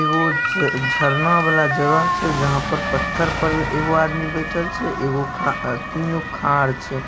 झरना वाला जगह छै जहां पर पत्थर ऊपर मे एगो आदमी बैठल छै एगो खाड़ तीनगो खार छै।